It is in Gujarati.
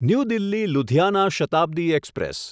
new Delhi Ludhiana Shatabdi express